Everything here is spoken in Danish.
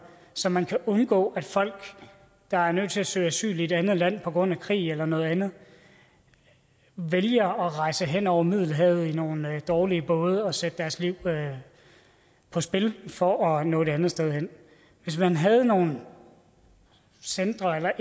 så man kan undgå at folk der er nødt til at søge asyl i et andet land på grund af krig eller noget andet vælger at rejse hen over middelhavet i nogle dårlige både og sætte deres liv på spil for at nå et andet sted hen hvis man havde nogle centre eller